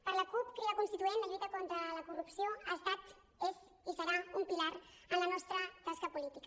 per la cup crida constituent la lluita contra la corrupció ha estat és i serà un pilar en la nostra tasca política